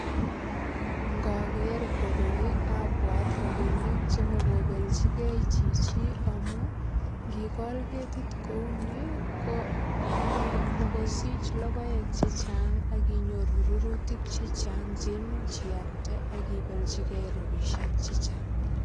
Ngoger koroi abwat ropinik chemakopelchigei chichi amu ngigol ketit kou ni komi mokosich logoek che chang ak inyoru rurutik che chang ang che imuch ialde ak ibelchigei rapisiek che chang.